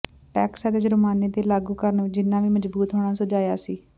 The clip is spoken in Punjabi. ਟੈਕਸ ਅਤੇ ਜੁਰਮਾਨੇ ਦੇ ਲਾਗੂ ਕਰਨ ਵਿਚ ਜਿੰਨਾ ਵੀ ਮਜਬੂਤ ਹੋਣਾ ਸੁਝਾਇਆ ਸੀ